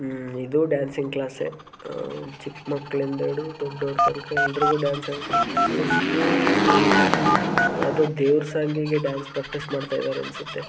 ಇದು ಡ್ಯಾನ್ಸಿಂಗ್ ಕ್ಲಾಸೆ ಅಹ್ ಚಿಕ್ಕ ಮಕ್ಕಳ ಇಂದ ಹಿಡಿದು ದೊಡ್ಡೋರ ತನಕ ಎಲ್ಲರಿಗು ಡಾನ್ಸ್ ಹೇಳಕೊಡತ್ತರೆ ಮೋಸ್ಟ್ಲಿ ಇದು ಯಾವದೋ ದೇವ್ರ ಸಾಂಗ್ ಗೆ ಡಾನ್ಸ್ ಪ್ರಾಕ್ಟೀಸ್ ಮಾಡತ್ತಾ ಇದಾರೆ ಅನ್ನಸುತ್ತೆ.